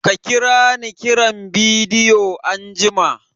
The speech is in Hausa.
Ka kira ni kiran bidiyo anjima!